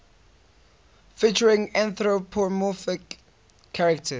featuring anthropomorphic characters